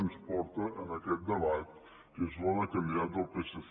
ens porta en aquest debat que és la de candidat del psc